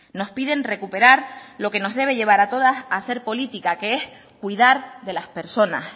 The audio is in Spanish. nos piden recuperar lo que nos debe llevar a todas a hacer política que es cuidar de las personas